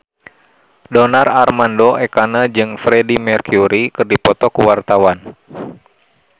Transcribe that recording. Donar Armando Ekana jeung Freedie Mercury keur dipoto ku wartawan